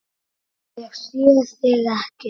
Ég sé þig ekki.